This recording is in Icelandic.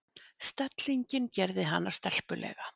Stellingin gerði hana stelpulega.